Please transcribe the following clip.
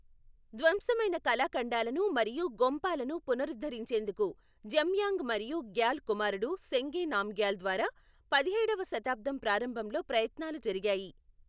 ధ్వంసమైన కళాఖండాలను మరియు గొంపాలను పునరుద్ధరించేందుకు జమ్యాంగ్ మరియు గ్యాల్ కుమారుడు సెంగే నామ్గ్యాల్ ద్వారా పదిహేడవ శతాబ్దం ప్రారంభంలో ప్రయత్నాలు జరిగాయి.